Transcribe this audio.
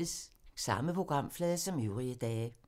Samme programflade som øvrige dage